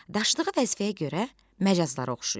Daşıdığı vəzifəyə görə məcazlara oxşayır.